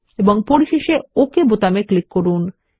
এবং পরিশেষে ওকে বোতামে ক্লিক করুন